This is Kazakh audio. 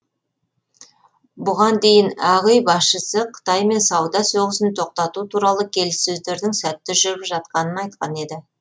бұған дейін ақ үй басшысы қытаймен сауда соғысын тоқтату туралы келіссөздердің сәтті жүріп жатқанын айтқан еді